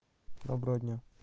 доброго дня